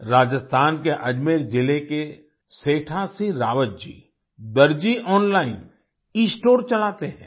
राजस्थान के अजमेर जिले के सेठा सिंह रावत जी दर्जी ऑनलाइन एस्टोर चलाते हैं